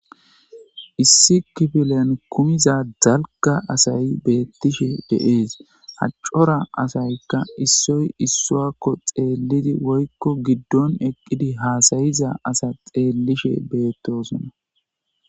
Issi kifilen kumiza zalka asayi beettishe deees haccora asaykka issoy issuakko xeellidi woykko giddon eqqidi haasayiza asa xeellishe beettosona.